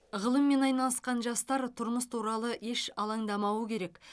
ғылыммен айналысқан жастар тұрмыс туралы еш алаңдамауы керек